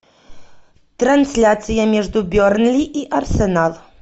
трансляция между бернли и арсенал